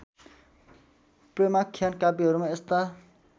प्रेमाख्यान काव्यहरूमा यस्ता